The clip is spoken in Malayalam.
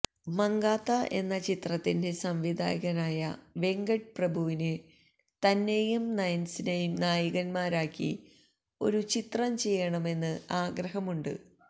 മങ്കാത്ത എന്ന ചിത്രത്തിന്റെ സംവിധായകനായ വെങ്കട്ട് പ്രഭുവുവിന് തന്നെയും നയന്സിനേയും നായികമാരാക്കി ഒരു ചിത്രം ചെയ്യണമെന്ന് ആഗ്രഹമുണ്ട്